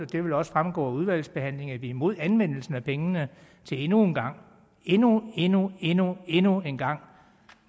det vil også fremgå under udvalgsbehandlingen at vi er imod anvendelsen af pengene til endnu en gang endnu endnu endnu endnu en gang